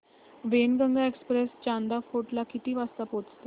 Wainganga express Chanda fort ला किती वाजता पोहचते